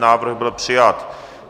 Návrh byl přijat.